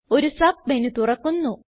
ഒരു സബ്മെനു തുറക്കുന്നു